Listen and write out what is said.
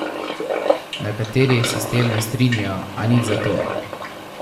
Nekateri se s tem ne strinjajo, a nič zato.